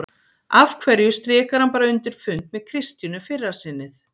Af hverju strikar hann bara undir fund með Kristínu fyrra sinnið?